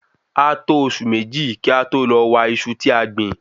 A to Oṣù Méjì kí a tó lọ wa Iṣu tí a gbìn